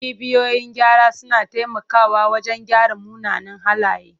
Cibiyoyin gyara suna taimakawa wajen gyara munanan halaye.